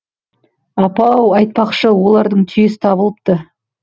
апа ау айтпақшы олардың түйесі табылыпты